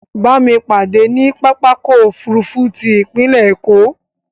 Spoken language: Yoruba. Bámi pàdé ní pápákọ̀ òfurufú ti ipinlẹ̀ Èkó